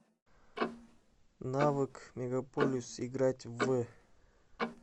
навык мегаполис играть в